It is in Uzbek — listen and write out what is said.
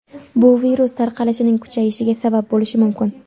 Bu virus tarqalishining kuchayishiga sabab bo‘lishi mumkin.